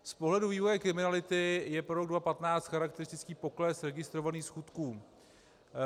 Z pohledu vývoje kriminality je pro rok 2015 charakteristický pokles registrovaných skutků.